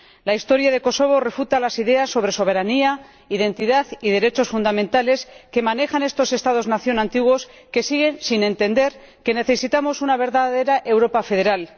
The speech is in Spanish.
La historia de Kosovo refuta las ideas sobre soberanía, identidad y derechos fundamentales que manejan estos Estados Nación antiguos, que siguen sin entender que necesitamos una verdadera Europa federal.